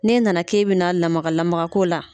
N'e nana k'e bɛna lamagalamaga k'o la